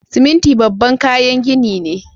Siminti babban kayan gini ne.